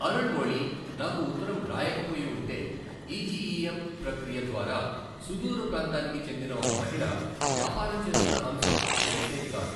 అరుళ్ మొళి నాకు ఉత్తరం రాయకపోయి ఉంటే ఈజీఇఎమ్ ప్రక్రియ ద్వారా సుదూర ప్రాంతానికి చెందిన ఒక మహిళ వ్యాపారం చేస్తున్న అంశం తెలిసేది కాదు.